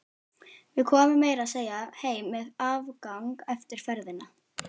Við komum meira að segja heim með afgang eftir ferðina.